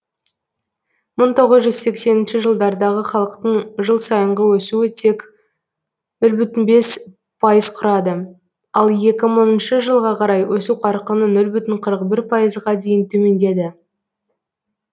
мың тоғыз жүз сексенінші жылдардағы халықтың жыл сайынғы өсуі тек нөл бүтін бес пайызды құрады ал екі мыңыншы жылға қарай өсу қарқыны нөл бүтін жүзден қырық бір пайызға дейін төмендеді